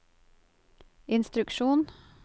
instruksjon